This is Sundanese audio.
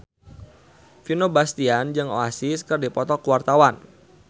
Vino Bastian jeung Oasis keur dipoto ku wartawan